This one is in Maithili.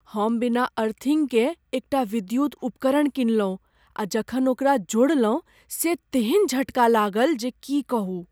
हम बिना अर्थिन्गकेँ एक टा विद्युत उपकरण किनलहुँ आ जखन ओकरा जोड़लहुँ से तेहन झटका लागल जे की कहू।